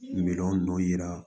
Miliyɔn dɔ yira